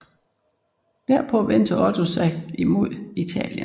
Derpå vendte Otto sig mod Italien